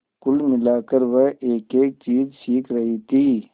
कुल मिलाकर वह एकएक चीज सीख रही थी